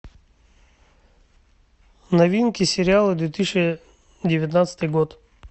новинки сериалы две тысячи девятнадцатый год